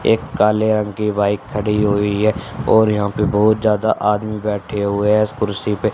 एक काले रंग की बाइक खड़ी हुई हैं और यहाँ पे बहुत ज्यादा आदमी बैठे हुए हैं इस कुर्सी पे--